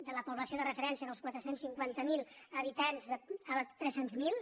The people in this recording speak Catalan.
de la població de referència dels quatre cents i cinquanta miler ha·bitants a tres cents miler